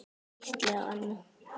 Gísli og Anna.